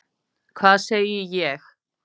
Hvað segi ég?